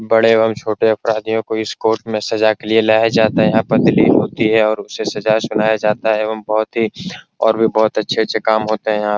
बड़े एवं छोटे अपराधियों को इस कोर्ट में सजा के लिए लाया जाता है यहाँ पे होती है और उसे सजा सुनाया जाता है एवं बहुत ही और भी बहुत अच्छे-अच्छे काम होते यहाँ।